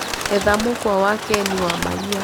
etha mũkwa wa ken wa maria